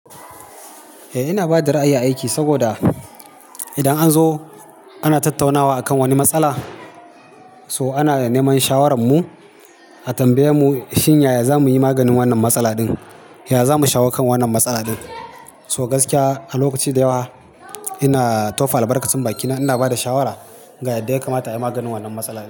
Eh ina bada ra'ayi a aiki saboda idan an zo ana tattaunawa akan wani matsala, so ana neman shawararmu a tambaye mu shin yaya za muyi maganin wannan matsala ɗin, yaya za mu shawo kan wannan matsala ɗin. So gaskiya a lokaci da yawa ina tofa albarkacin bakina ina bada shawara ga yadda ya kamata ayi maganin wannan matsala ɗin.